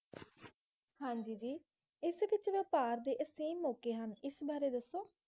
ਹਾਂਜੀ ਜੀ ਇਸ ਵਿਚ ਵ੍ਯਪਾਰ ਦੇ ਅਸੀਮ ਮੌਕੇ ਹਨ ਇਸ ਬਾਰੇ ਦੱਸੋ